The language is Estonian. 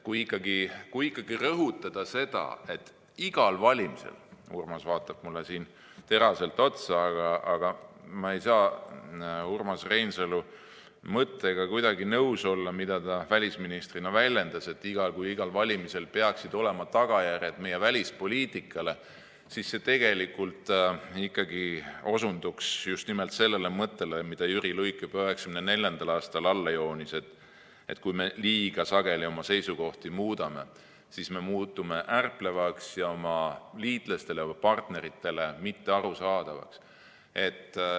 Kui ikkagi rõhutada seda, et igal valimisel – Urmas vaatab mulle teraselt otsa, aga ma ei saa kuidagi nõus olla Urmas Reinsalu mõttega, mida ta välisministrina väljendas – peaksid olema tagajärjed meie välispoliitikale, siis see tegelikult osutaks just nimelt sellele mõttele, mida Jüri Luik juba 1994. aastal alla joonis, et kui me liiga sageli oma seisukohti muudame, siis me muutume ärplevaks ja oma liitlastele, partneritele mittearusaadavaks.